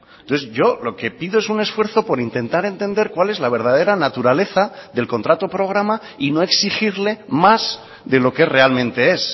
entonces yo lo que pido es un esfuerzo por intentar entender cuál es la verdadera naturaleza del contrato programa y no exigirle más de lo que realmente es